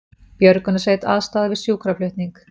Björgunarsveit aðstoðaði við sjúkraflutning